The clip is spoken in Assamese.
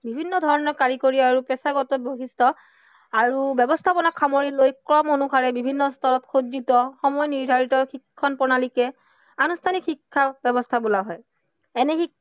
বিভিন্ন ধৰণৰ কাৰিকৰী আৰু পেছাগত বৈশিষ্ট্য় আৰু ব্য়ৱস্থাবোৰক সামৰি লৈ ক্ৰম অনুসাৰে বিভিন্ন স্তৰত সময় নিৰ্ধাৰিত শিক্ষণ প্ৰণালীকে আনুষ্ঠানিক শিক্ষা ব্য়ৱস্থা বোলা হয়। এনে শিক্ষা